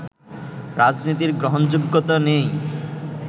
রাজনীতির গ্রহণযোগ্যতা নেই